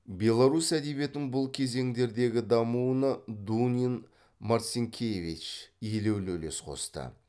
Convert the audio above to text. беларусь әдебиетінің бұл кезеңдердегі дамуына дунин марцинкевич елеулі үлес қосты